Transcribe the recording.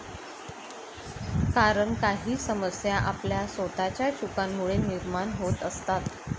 कारण काही समस्या आपल्या स्वतःच्या चुकांमुळे निर्माण होत असतात.